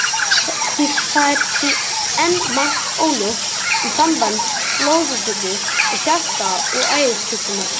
Það er því enn margt óljóst um samband blóðfitu og hjarta- og æðasjúkdóma.